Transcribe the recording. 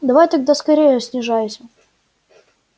давай тогда скорее снижайся